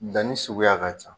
Danni suguya ka ca